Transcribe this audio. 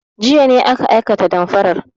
Jiya ne aka aikata damfarar.